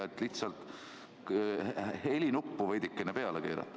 Ehk võiks lihtsalt helinuppu veidikene peale keerata.